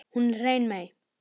Hún er hrein mey.